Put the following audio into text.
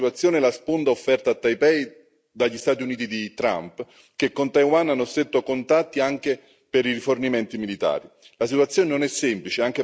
A complicare ulteriormente la situazione è la sponda offerta a Taipei dagli Stati Uniti di Trump, che con Taiwan hanno stretto contatti anche per rifornimenti militari.